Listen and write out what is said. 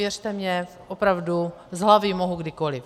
Věřte mi, opravdu, z hlavy mohu kdykoliv.